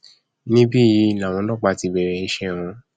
níbí yìí làwọn ọlọpàá ti bẹrẹ iṣẹ wọn